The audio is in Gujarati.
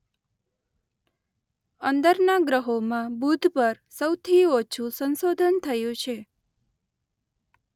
અંદરના ગ્રહોમાં બુધ પર સૌથી ઓછું સંશોધન થયું છે.